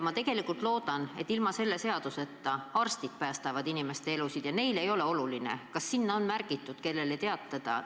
Ma tegelikult loodan, et ka ilma selle seaduseta päästavad arstid inimeste elusid ja neile ei ole oluline, kas sinna süsteemi on märgitud, kellele teatada.